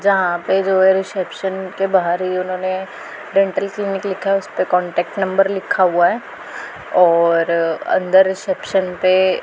जहां पे जो है रिसेप्शन के बाहर ही इन्होंने डेंटल क्लिनिक लिखा है उसे पे कांटेक्ट नंबर लिखा हुआ है और अंदर रिसेप्शन पे--